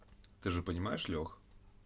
ты же понимаешь лёх